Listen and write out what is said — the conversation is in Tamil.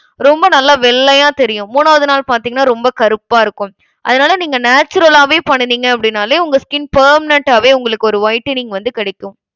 ரொம்ப நல்ல வெள்ளையா தெரியும் மூணாவது நாள் பாத்தீங்கன்னா ரொம்ப கருப்பா இருக்கும். அதனால நீங்க natural ஆவே பண்ணுணிங்க அப்டினாலே உங்க skin permanent ஆவே உங்களுக்கு ஒரு whitening வந்து கிடைக்கும்.